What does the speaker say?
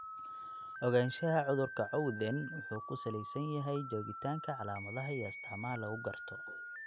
Ogaanshaha cudurka Cowden wuxuu ku salaysan yahay joogitaanka calaamadaha iyo astaamaha lagu garto.